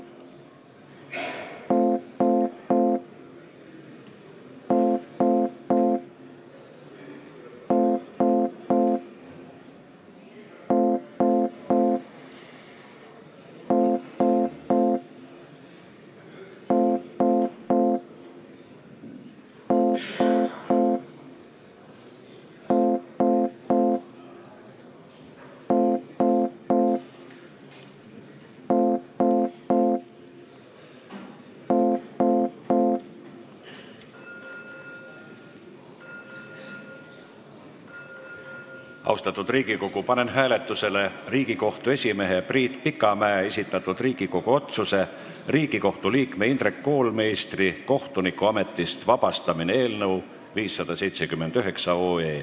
Austatud Riigikogu, panen hääletusele Riigikohtu esimehe Priit Pikamäe esitatud Riigikogu otsuse "Riigikohtu liikme Indrek Koolmeistri kohtunikuametist vabastamine" eelnõu 579.